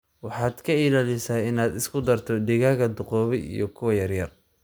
Waxaad ka ilaalisa inaad isku darto digaaga duqoobay iyo kuwa yaryar.